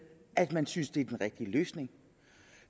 at man synes det er den rigtige løsning